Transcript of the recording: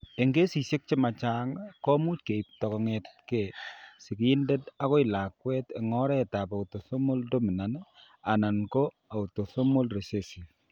Eng' kesishek che ma chang', komuch keipto kong'etke sigindet akoi lakwet eng' oretab autosomal dominant anan ko autosomal recessive.